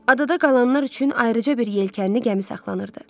Adada qalanlar üçün ayrıca bir yelkənli gəmi saxlanırdı.